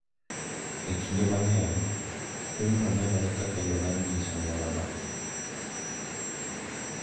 E dinde mang’eny, timno nenore kaka yo mar nyiso ng’uono,